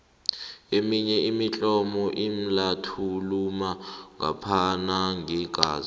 eminye imitlolo inlathulula ngophana ngeengazi